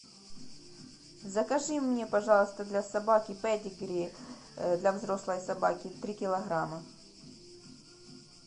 закажи мне пожалуйста для собаки педигри для взрослой собаки три килограмма